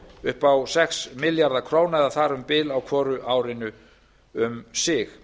upp á sex milljarða króna eða þar um bil á hvoru árinu um sig